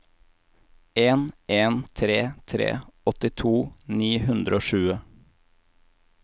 en en tre tre åttito ni hundre og tjue